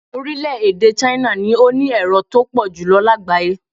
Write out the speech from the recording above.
Orílẹ̀-èdè Chne ni ó ní èrò tó pọ̀ jù lágbàáyé